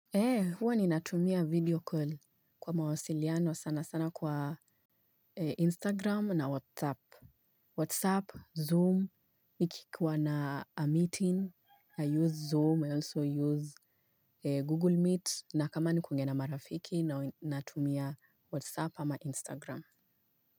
He, huwa ninatumia video call kwa mawasiliano sana sana kwa Instagram na WhatsApp. WhatsApp, Zoom, nikikuwa na a meeting, I use Zoom, I also use Google Meet, na kama ni kuongea na marafiki natumia WhatsApp ama Instagram.